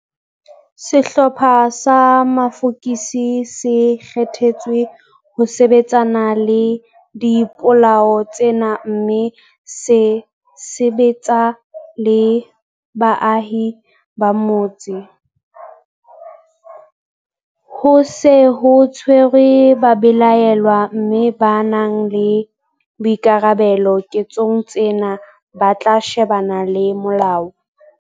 Sehlopha sa mafokisi se kgethetswe ho sebetsana le dipolao tsena mme se sebetsa le baahi ba motse. Ho se ho tshwerwe babelaellwa mme ba nang le boikarabelo ketsong tsena ba tla shebana le molao.